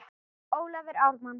Ólafur Ármann.